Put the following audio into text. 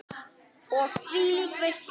Og þvílík veisla!